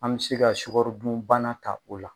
An bɛ se ka sukaro dunbana ta o la.